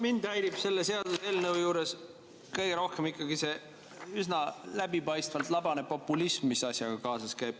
Mind häirib selle seaduseelnõu juures kõige rohkem ikkagi see üsna läbipaistvalt labane populism, mis asjaga kaasas käib.